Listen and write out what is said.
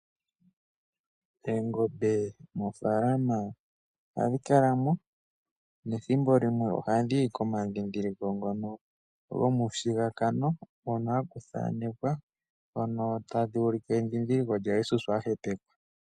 Oongombe moofaalama ohadhi kala mo, nethimbo limwe ohadhi yi komandhindhiliko ngono gomushigakano hono ha ku thanekwa, hono taku ulike endhindhiliko lyaJesus a hepekwa.